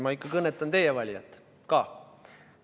Ma kõnetan ikka teie valijat ka.